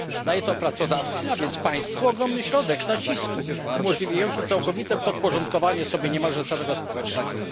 Daje to pracodawcy, a więc państwu, ogromny środek nacisku, umożliwiający całkowite podporządkowanie sobie niemalże całego społeczeństwa.